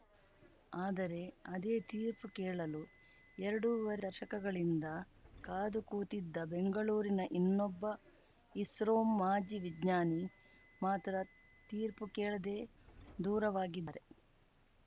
ಆದರೆ ಅದೇ ತೀರ್ಪು ಕೇಳಲು ಎರಡೂವರೆ ದಶಕಗಳಿಂದ ಕಾದು ಕೂತಿದ್ದ ಬೆಂಗಳೂರಿನ ಇನ್ನೊಬ್ಬ ಇಸ್ರೋ ಮಾಜಿ ವಿಜ್ಞಾನಿ ಮಾತ್ರ ತೀರ್ಪು ಕೇಳದೇ ದೂರವಾಗಿದ್ದಾರೆ